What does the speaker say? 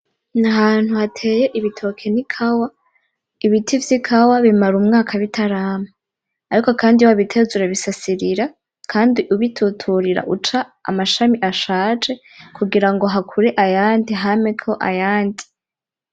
N'ahantu hateye ibitoki n'ikawa ibiti vy'ikawa bimara umwaka bitarama ariko kandi iyo wabiteye uzurabisasirira kandi ubituturira uca amashami ashaje kugirango hakure ayandi hameko ayandi.